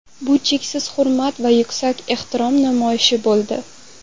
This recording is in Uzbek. Bu cheksiz hurmat va yuksak ehtirom namoyishi bo‘ldi.